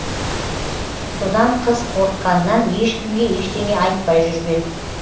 содан қыз қорыққанынан ешкімге ештеңе айтпай жүрген